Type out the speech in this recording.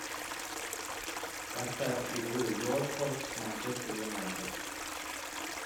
поставь игру уотфорд с манчестер юнайтед